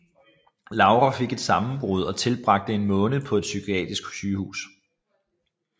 Laura fik et sammenbrud og tilbragte en måned på et psykiatrisk sygehus